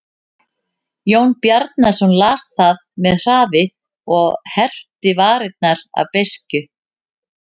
Jón Bjarnason las það með hraði og herpti varirnar af beiskju.